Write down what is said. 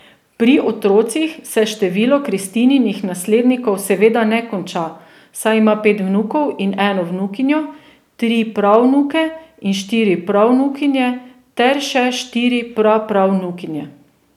Pri otrocih se število Kristininih naslednikov seveda ne konča, saj ima pet vnukov in eno vnukinjo, tri pravnuke in štiri pravnukinje ter še štiri prapravnukinje.